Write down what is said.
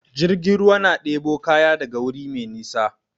Jirgin ruwa na ɗebo kaya daga wuri mai nisa.